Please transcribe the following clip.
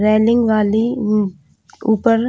railing वाली यू ऊपर--